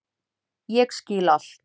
Ég skil allt!